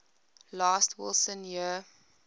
last wilson year